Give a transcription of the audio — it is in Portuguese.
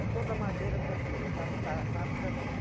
É toda madeira da da da fábrica dele.